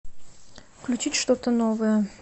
включить что то новое